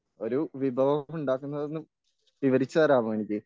ഒരു വിഭവം ഉണ്ടാക്കുന്നതൊന്ന് വിവരിച്ചു തരാമോ എനിക്ക്?